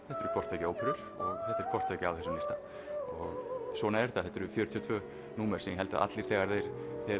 þetta eru hvort tveggja óperur og þetta er hvort tveggja á þessum lista og svona er þetta þetta eru fjörutíu og tvö númer sem ég held að allir þegar þeir